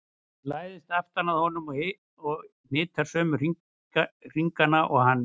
Hún læðist aftan að honum og hnitar sömu hringina og hann.